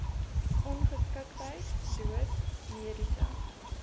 ongeskiktheid dood mediese